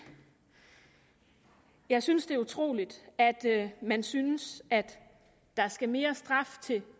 jeg synes det er utroligt at man synes at der skal mere straf til